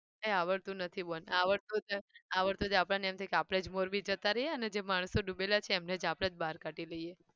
કઈ આવડતું નથી બેન આવડતું હોત ને આવડતું હોય તો આપણને એમ થાય કે આપણે જ મોરબી જતા રહીએ અને જે માણસો ડૂબેલા છે એમને આપણે જ બાર કાઢી લઈએ.